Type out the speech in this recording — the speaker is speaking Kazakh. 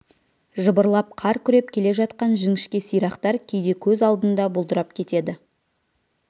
жыбырлап қар күреп келе жатқан жіңішке сирақтар кейде көз алдында бұлдырап кетеді